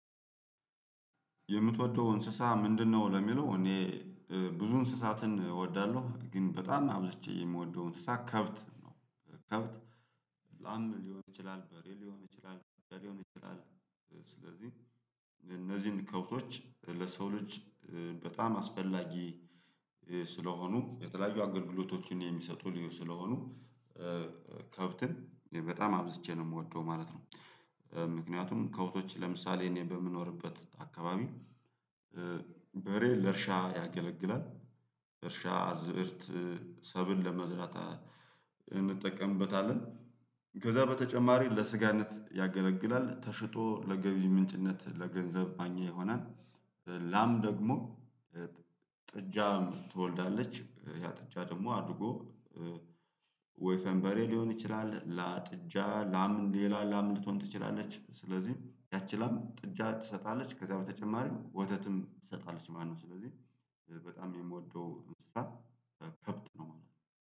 የምትወደው እንስሳ ምንድነው? ለሚለው እኔ ብዙ እንስሳትን እወዳለሁ። ግን በጣም አብዝቼ የምወደው እንስሳ ከብት ከብት ላም ሊሆን ይችላል በሬ ሊሆን ይችላል በሬ ሊሆን ይችላል። እፅ ስለዚህ እነዚህን ከብቶች ለሰው ልጅ ኧ በጣም አስፈላጊ ኧ ስለሆኑ የተለያዩ አገልግሎቶችን የሚሰጡ ልዩ ስለሆኑ ኧ ከብትን በጣም አብዝቼ ነው የምወደው ማለት ነው። ምክንያቱም ከብቶች ለምሳሌ እኔ በምኖርበት አካባቢ ኧ በሬ ለእርሻ ያገለግላል። እርሻ ዝእርት ሰብል ለመዝራት እንጠቀምበታለን ከዛ በተጨማሪ ለስጋነት ያገለግላል ተሽጦ ለገቢ ምንጭነት ለገንዘብ ማግኛ ይሆናል። ላም ደግሞ ኧጥ ጥጃም ትወልዳለች ያ ጥጃ ደግሞ አድጎ ወይ ፈንበሬ ሊሆን ይችላል ላጥጃ ላም ሌላ ላም ልትሆን ትችላለች ስለዚህ ያቺ ላም ጥጃ ትሰጣለች ከዛ በተጨማሪም ወተትም ትሰጣለች። ማነው ስለዚህ በጣም የምወደው እንስሳ ከብት ነው ማለት ነው